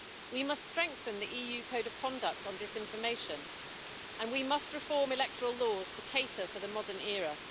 We must strengthen the EU Code of Conduct on disinformation, and we must reform electoral laws to cater for the modern era.